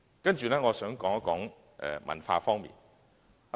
接着我想談談文化方面的事宜。